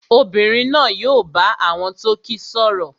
Obìnrin náà yóò bá àwọn tó kíi sọ̀rọ̀